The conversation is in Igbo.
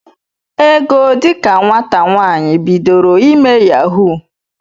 Ego dika nwata nwaanyị, bidoro ime yahuu.